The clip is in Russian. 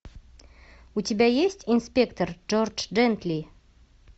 у тебя есть инспектор джордж джентли